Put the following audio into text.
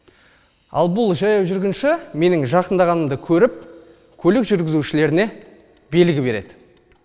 ал бұл жаяу жүргінші менің жақындағанымды көріп көлік жүргузішілеріне белгі береді